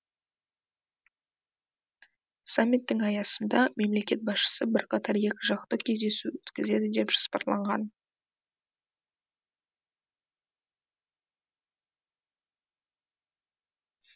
саммиттің аясында мемлекет басшысы бірқатар екіжақты кездесу өткізеді деп жоспарланған